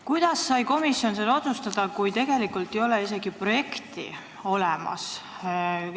Kuidas sai komisjon seda otsustada, kui tegelikult ei ole isegi projekti olemas?